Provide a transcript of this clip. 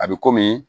A bɛ